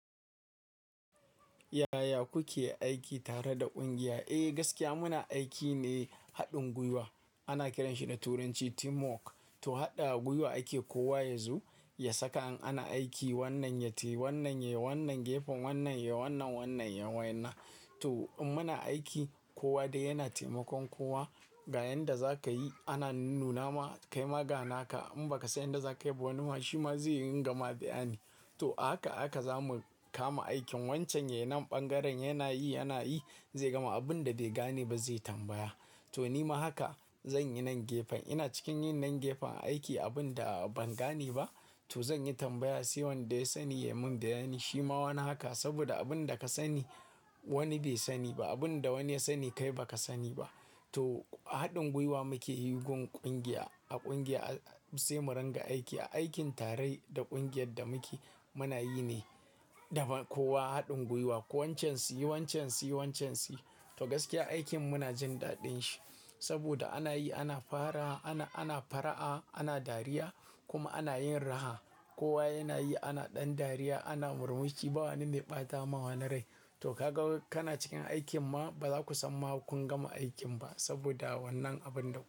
Yaya kuke aiki tare da ƙungiya? Eh gaskiya muna aiki ne haɗin gwiwa ana kiranshi da turanci teamwork. To haɗa gwiwa ake kowa yazo ya saka in ana aiki wannan ya tayi wannan yayi wannan gefen wannan yayi wannan wannan yayi wannan. To in muna aiki kowa dai yana taimakon kowa ga yanda za kayi ana nunnuna ma kaima gana ka in baka san yanda za kayi ba wani ma shi ma zai ringa ma bayani. To a haka a haka zamu kama aikin wancan yayi nan ɓangaren yana yi yana yi abinda bai gane ba zai tambaya. To nima haka zan yi nan gefen ina cikin yin nan gefen aiki abin da ban gane ba to zan yi tambaya sai wanda ya sani ya mun bayani. Shi ma wani haka saboda abin da ka sani wani bai sani ba abin da wani ya sani kai baka sani ba. To haɗin gwiwa muke yi gun ƙungiya a ƙungiya sai mu ringa aiki a aikin tare da ƙungiyar da muke munayi ne da kowa haɗin gwiwa. Ko wancan si yi wancan si yi wancan siyi to gaskiya aikin muna jin daɗin shi saboda ana yi ana fara ana fara'a ana dariya kuma ana yin raha. Kowa yana yi ana ɗan dariya ana murmushi ba wani mai ɓata ma wani rai. To kaga kana cikin aikin ma baza ku san ma kun gama aikin ba saboda wannan abun da.